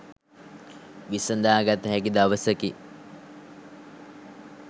විසඳා ගතහැකි දවසකි.